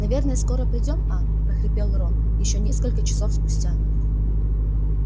наверное скоро приедём а прохрипел рон ещё несколько часов спустя